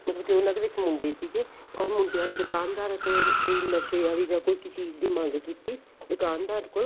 ਉਹਨਾ ਦੇ ਵਿੱਚ ਮੁੰਡੇ ਸੀਗੇ or ਮੁੰਡਿਆਂ ਨੇ ਦੁਕਾਨ ਕੋਈ ਨਸ਼ੇ ਆਲੀ ਯਾ ਕਿਸੇ ਚੀਜ਼ ਦੀ ਮੰਗ ਕੀਤੀ ਦੁਕਾਨਦਾਰ ਕੋਲ